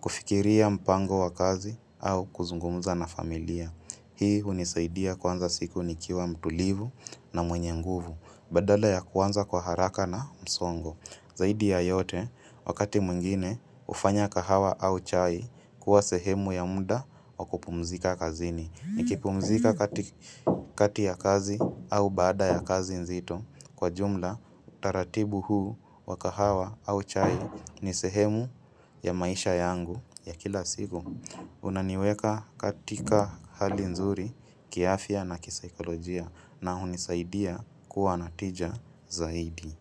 Kufikiria mpango wa kazi au kuzungumza na familia. Hii hunisaidia kuanza siku nikiwa mtulivu na mwenye nguvu, badala ya kuanza kwa haraka na msongo. Zaidi ya yote, wakati mwingine, hufanya kahawa au chai kuwa sehemu ya muda wa kupumzika kazini. Nikipumzika kati kati ya kazi au baada ya kazi nzito, kwa jumla, utaratibu huu wa kahawa au chai ni sehemu ya maisha yangu ya kila siku. Unaniweka katika hali nzuri, kiafya na kisaikolojia na hunisaidia kuwa natija zaidi.